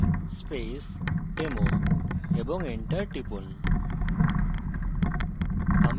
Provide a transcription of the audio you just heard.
সুতরাং লিখুন cd space demo এবং enter টিপুন